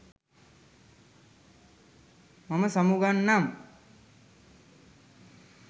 මම සමුගන්නම්